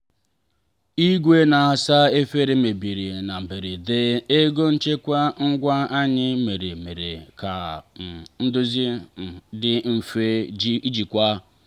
igwe na-asa efere mebiri na mberede ego nchekwa ngwa anyị mere mere ka um ndozi um dị mfe ijikwa.